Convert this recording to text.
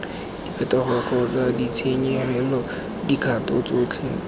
diphetogo kgotsa ditshenyegelo dikgato tsotlhe